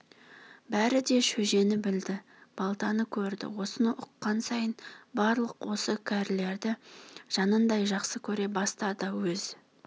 беріде шөжені білді балтаны көрді осыны ұққан сайын барлық осы кәрілерді жанындай жақсы көре бастады өз